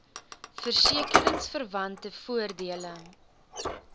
verseke ringsverwante voordele